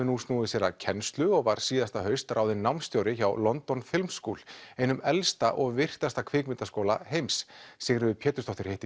nú snúið sér að kennslu og var síðasta haust ráðinn námsstjóri hjá London school einum elsta og virtasta kvikmyndaskóla heims Sigríður Pétursdóttir hitti